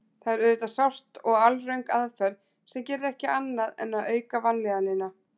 Það er auðvitað sárt og alröng aðferð sem gerir ekki annað en að auka vanlíðanina.